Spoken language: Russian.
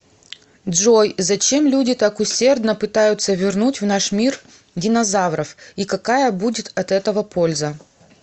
джой зачем люди так усердно пытаются вернуть в наш мир динозавров и какая будет от этого польза